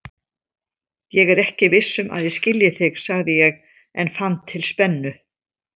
Ég er ekki viss um að ég skilji þig, sagði ég en fann til spennu.